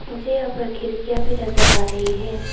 मुझे यहां पर खिरकियां भी नजर आ रही है।